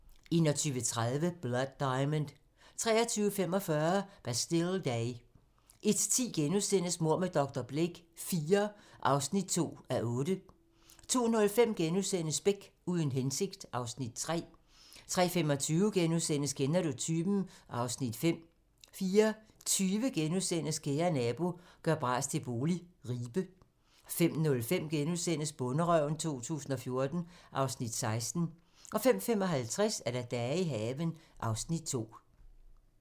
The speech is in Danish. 21:30: Blood Diamond 23:45: Bastille Day 01:10: Mord med dr. Blake IV (2:8)* 02:05: Beck: Uden hensigt (Afs. 3)* 03:35: Kender du typen? (Afs. 5)* 04:20: Kære nabo - gør bras til bolig - Ribe * 05:05: Bonderøven 2014 (Afs. 16)* 05:55: Dage i haven (Afs. 2)